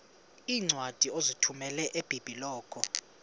iincwadi ozithumela ebiblecor